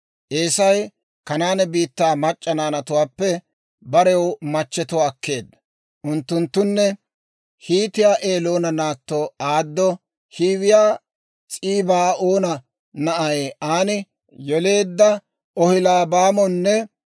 Eesay Kanaane biittaa mac'c'a naanatuwaappe barew machchetuwaa akkeedda; unttunttune Hiitiyaa Eloona naatto Aado, Hiiwiyaa S'ibaa'oona na'ay Aani yeleedda Oholiibaamonne.